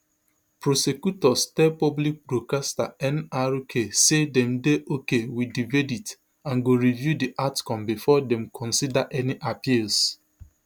prosecutors tell public broadcaster nrk say dem dey okay wit di verdict and go review di outcome bifor dem consider any appeals